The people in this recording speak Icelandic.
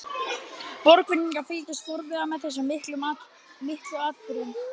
Borgfirðingar fylgdust forviða með þessum miklu atburðum.